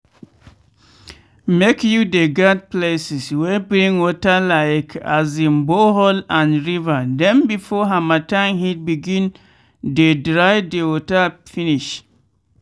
make you dey guard places wey bring water like um borehole and river dem before harmattan heat begin dey dry de water finish.